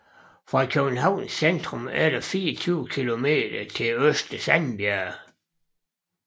Fra Københavns centrum er der 24 kilometer til Øster Sandbjerg